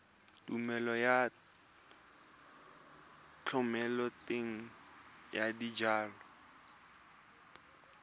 tumelelo ya thomeloteng ya dijalo